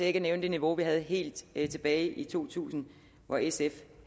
ikke at nævne det niveau vi havde helt tilbage tilbage i to tusind hvor sf